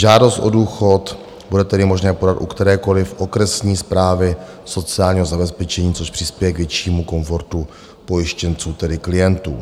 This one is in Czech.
Žádost o důchod bude tedy možné podat u kterékoliv okresní správy sociálního zabezpečení, což přispěje k většímu komfortu pojištěnců, tedy klientů.